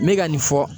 Me ka nin fɔ